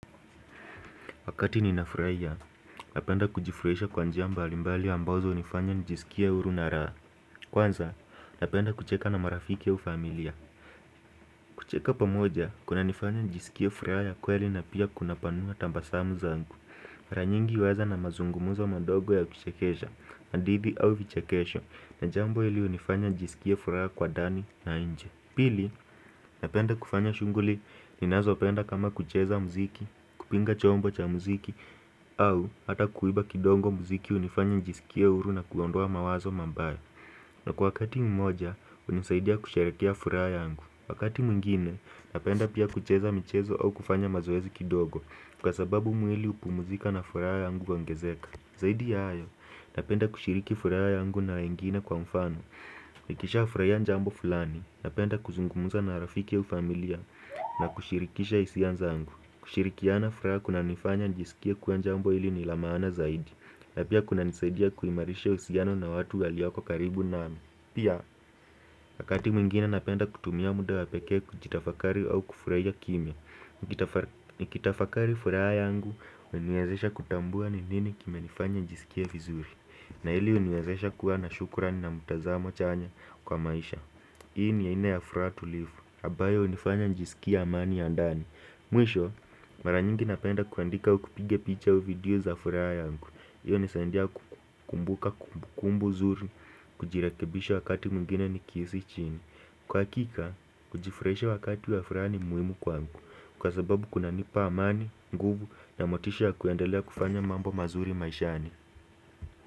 Wakati ninafurahia, napenda kujifurahisha kwa njia mbali mbali ambazo hunifanya nijisikie uhuru na raha. Kwanza, napenda kucheka na marafiki au familia. Kucheka pamoja, kunanifanya nijisikie furaha ya kweli na pia kunapanua tabasamu zangu. Mara nyingi huweza na mazungumzo madogo ya kuchekesha, hadithi au vichekesho na jambo ili hunifanya nijisikie furaha kwa ndani na inje. Pili, napenda kufanya shughuli ninazopenda kama kucheza muziki, kupiga chombo cha muziki au hata kuimba kidogo muziki hunifanya nijisikie uhuru na kuondoa mawazo mabaya na kwa wakati mmoja, hunisaidia kusherehekea furaha yangu Wakati mwingine, napenda pia kucheza michezo au kufanya mazoezi kidogo kwa sababu mwili hupumzika na furaha yangu huongezeka Zaidi ya hayo, napenda kushiriki furaha yangu na wengine kwa mfano Nikisha hufrahia jambo fulani, napenda kuzungumza na rafiki au familia na kushirikisha hisia zangu kushirikiana furaha kunanifanya nijisikie kuwa jambo hili ni la maana zaidi na pia kunanisaidia kuimarisha uhusiano na watu walioko karibu nami Pia, wakati mwingine napenda kutumia muda wapekee kujitafakari au kufurahia kimya Nikitafakari furaha yangu huniwezesha kutambua ni nini kimenifanya nijisikie vizuri na hili huniwezesha kuwa na shukrani na mtazamo chanya kwa maisha Hii ni aina ya furaha tulivu ambayo hunifanya nijisikie amani ya ndani Mwisho, mara nyingi napenda kuandika au kupiga picha au video za furaha yangu hiyo hunisaidia kukumbuka kumbu kumbu nzuri kujirekebisha wakati mwingine nikihisi chini Kwa hakika, kujifurahisha wakati ya furaha ni muhimu kwangu Kwa sababu kunanipa amani, nguvu na motisha ya kuendelea kufanya mambo mazuri maishani.